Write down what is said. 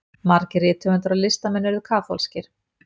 margir rithöfundar og listamenn urðu kaþólskir